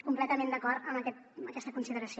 completament d’acord amb aquesta consideració